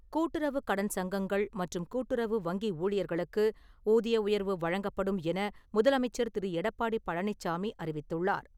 கூட்டுறவுக் கடன் சங்கங்கள் மற்றும் கூட்டுறவு வங்கி ஊழியர்களுக்கு ஊதிய உயர்வு வழங்கப்படும் என முதலமைச்சர் திரு எடப்பாடி பழனிச்சாமி அறிவித்துள்ளார்.